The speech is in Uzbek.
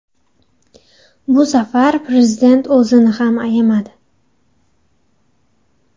Bu safar Prezident o‘zini ham ayamadi .